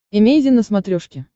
эмейзин на смотрешке